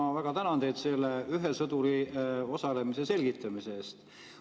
Ma väga tänan teid selle ühe sõduriga osalemise selgitamise eest.